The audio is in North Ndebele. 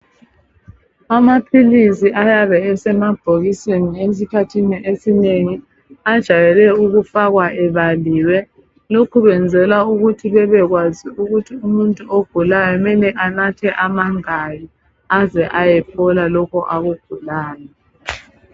Amaphilisi ayabe esemabhokisini esikhathini esinengi ajayele ukufakwa ebaliwe. Lokhu kwenzelwa ukuthi bebekwazi ukuthi umuntu ogulayo kumele anathe amangaki, aze ayophola lokho akugulayo.